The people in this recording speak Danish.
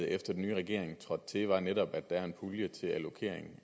efter den nye regering trådte til var netop at der er en pulje til allokering